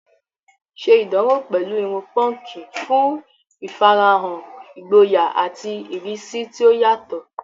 Ṣe ìdánwò pẹ̀lú irun púnkì fún ìfarahàn ìgboyà àti ìrísí tí ó yàtọ̀